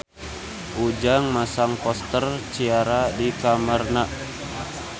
Ujang masang poster Ciara di kamarna